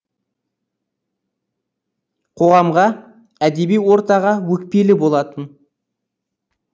қоғамға әдеби ортаға өкпелі болатын